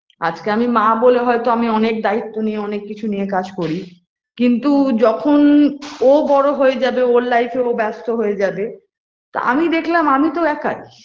আজকে আমি মা বলে হয়তো আমি অনেক দায়িত্ব নিয়ে অনেক কিছু নিয়ে কাজ করি কিন্তু যখন ও বড় হয়ে যাবে ওর life এ ও ব্যস্ত হয়ে যাবে তো আমি দেখলাম আমি তো একাই